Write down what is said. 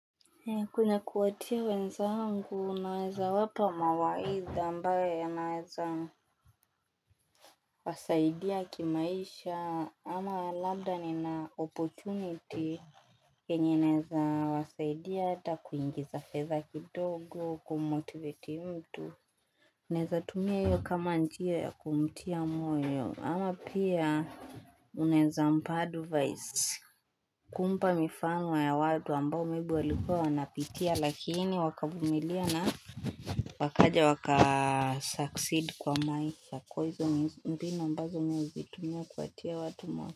He kwenye kuatia wenzangu naweza wapa mawaiza ambayo ya naweza. Wasaidia kimaisha ama labda ni na opportunity Kenye naweza wasaidia ata kuingiza feza kidogo kumotivati mtu. Unaweza tumia iyo kama nchiyo ya kumtia moyo ama pia. Unaweza mpadu vaisi kumpa mifano ya wadu ambao mibu walikua wanapitia lakini wakabumilia na. Wakaja wakasucceed kwa maisha koizo mbina mbazo mewizitumia kuatia watu mwaka.